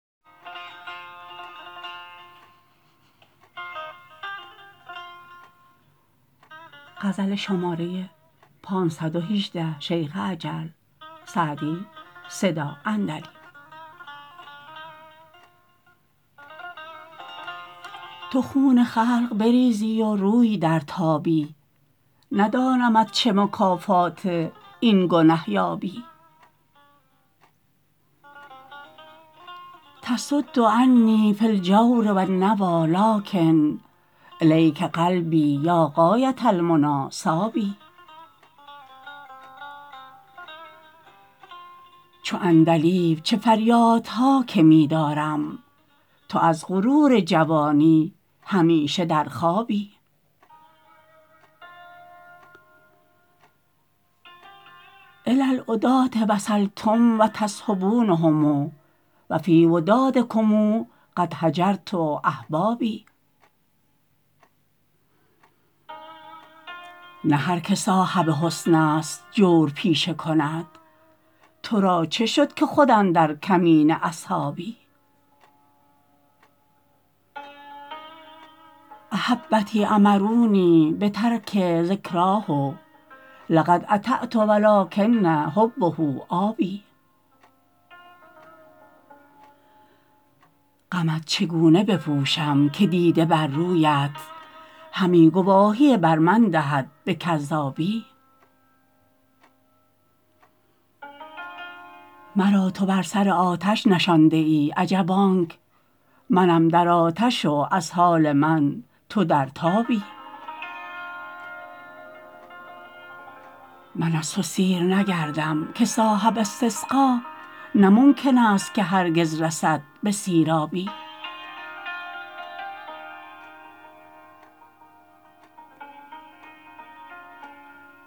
تو خون خلق بریزی و روی درتابی ندانمت چه مکافات این گنه یابی تصد عنی فی الجور و النویٰ لٰکن إلیک قلبی یا غایة المنیٰ صاب چو عندلیب چه فریادها که می دارم تو از غرور جوانی همیشه در خوابی إلی العداة وصلتم و تصحبونهم و فی ودادکم قد هجرت أحبابی نه هر که صاحب حسن است جور پیشه کند تو را چه شد که خود اندر کمین اصحابی أحبتی أمرونی بترک ذکراه لقد أطعت و لٰکن حبه آب غمت چگونه بپوشم که دیده بر رویت همی گواهی بر من دهد به کذابی مرا تو بر سر آتش نشانده ای عجب آنک منم در آتش و از حال من تو در تابی من از تو سیر نگردم که صاحب استسقا نه ممکن است که هرگز رسد به سیرابی